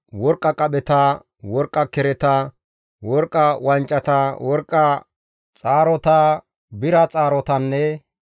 worqqa qapheta, worqqa kereta, worqqa wancata, worqqa xaarota, bira xaarotanne